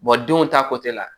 denw ta la